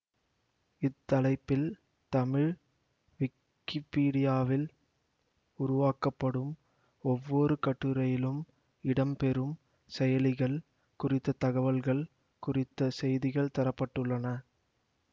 இத்தலைப்பில் தமிழ் விக்கிப்பீடியாவில் உருவாக்கப்படும் ஒவ்வொரு கட்டுரையிலும் இடம் பெறும் செயலிகள் குறித்த தகவல்கள் குறித்த செய்திகள் தர பட்டுள்ளன